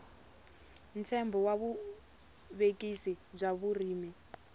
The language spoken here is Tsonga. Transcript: ntshembo wa vuvekisi bya vurimi